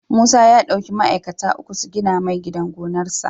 Musa ya dauki ma'aikata uku su gina mai gidan gonar sa